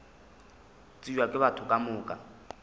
tsebja ke batho ka moka